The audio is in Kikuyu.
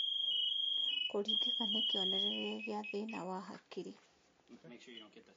Kũringĩka nĩ kĩonereria gĩa thĩna wa hakiri